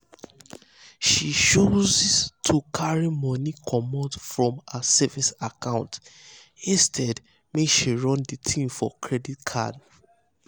she choose to carry money comot um from her um savings account instead um make she run the thing for credit card.